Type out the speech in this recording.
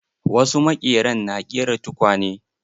Wasu maƙeran na ƙera tukwane.